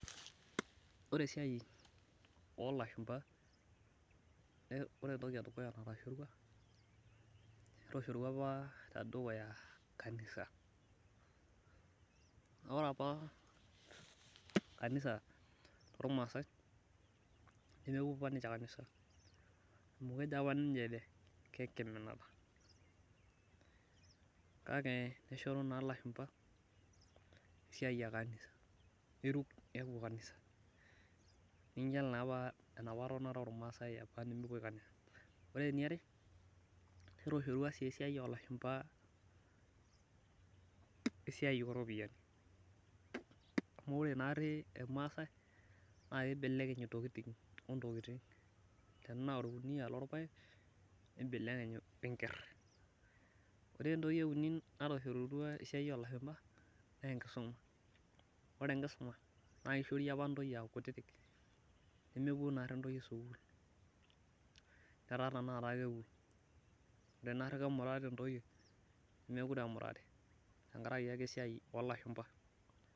ore esiai oo ilashumba , ore entoki edukuya natashorua naa kanisa, ore apa kanisa too imaasai naa mepuo apa niche kanisa amu kejo apa niche kengiminata, kake neshoru naa ilashumba niruk nelo kanisa, ore eniare netoshorua sii esiai olashumba iropiyiani, amu ore naari ilmaasai naa kibelekeny intokitin ontokitin, tenaa ilpayek olkuniyia nibelekeny wenger, ore entoki euni natoshorua esiai oo ilashumba naa enkisuma, naa kishori apa intoyie aakutiktik naa mepuo apa sukuul, netaa tenakata kepuo naa kemurati apa ore sai naa memurati tenkaraki esiai oo lashumba.